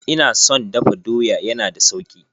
Ina son dafa doya, ya na da sauki.